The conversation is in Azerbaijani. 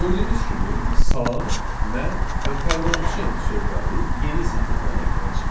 Gördüyünüz kimi, salam, mən və proqramçıyam sözləri yeni sətirdən ekrana çıxdı.